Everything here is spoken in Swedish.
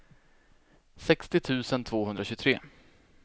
sextio tusen tvåhundratjugotre